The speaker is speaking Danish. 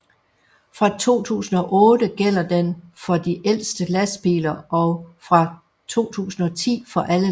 Fra 2008 gælder den for de ældste lastbiler og fra 2010 for alle lastbiler